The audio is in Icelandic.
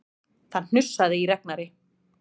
Það hnussaði í Ragnari.